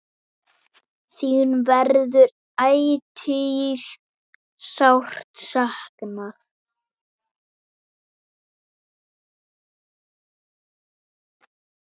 Þín verður ætíð sárt saknað.